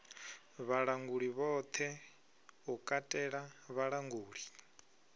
vhalanguli vhoṱhe u katela vhalanguli